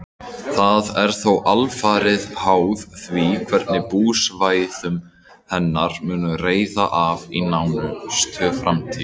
Það er þó alfarið háð því hvernig búsvæðum hennar mun reiða af í nánustu framtíð.